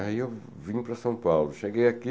Aí eu vim para São Paulo, cheguei aqui,